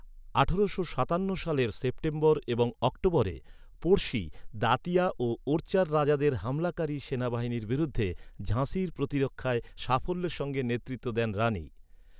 আঠারো সাতান্ন সালের সেপ্টেম্বর এবং অক্টোবরে, পড়শি দাতিয়া ও ওরচার রাজাদের হামলাকারী সেনাবাহিনীর বিরুদ্ধে ঝাঁসির প্রতিরক্ষায় সাফল্যের সঙ্গে নেতৃত্ব দেন রানি।